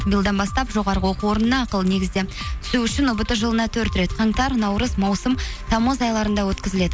биылдан бастап жоғарғы оқу орнына ақылы негізде түсу үшін ұбт жылына төрт рет қаңтар наурыз маусым тамыз айларында өткізіледі